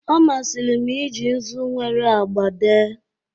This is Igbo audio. Ọ masịrị m iji nzu nwere agba dee